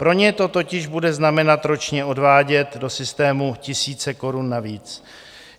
Pro ně to totiž bude znamenat ročně odvádět do systému tisíce korun navíc.